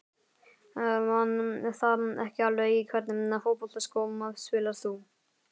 Man það ekki alveg Í hvernig fótboltaskóm spilar þú?